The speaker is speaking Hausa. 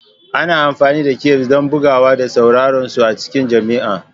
Ana amfani da cafes don bugawa da sauransu a cikin jami'a.